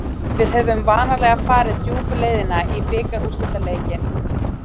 Við höfum vanalega farið djúpu leiðina í bikarúrslitaleikinn.